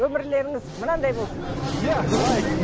өмірлеріңіз мынандай болсын иә лайк